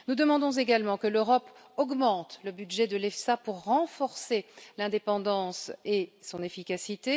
Nous demandons également que l'Europe augmente le budget de l'EFSA pour renforcer son indépendance et son efficacité.